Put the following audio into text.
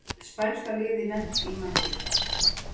Spænska liðið lent í Madríd